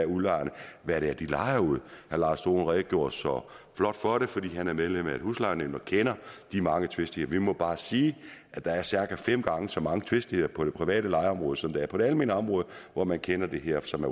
udlejerne hvad det er de lejer ud herre lars dohn redegjorde så flot for det fordi han er medlem af et huslejenævn og kender de mange tvistigheder vi må bare sige at der er cirka fem gange så mange tvistigheder på det private lejeområde som der er på det almene område hvor man kender det her som